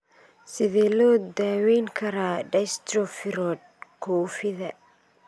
Sidee loo daweyn karaa dystrophy rod koofida?